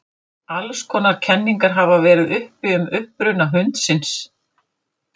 Alls konar kenningar hafa verið uppi um uppruna hundsins.